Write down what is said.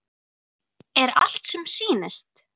Er allt sem sýnist?